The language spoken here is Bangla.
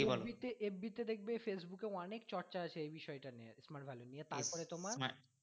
fb তে fb তে দেখবে facebook এ অনেক চর্চা আছে এই বিষয়টা নিয়ে smart value নিয়ে তারপরে তোমার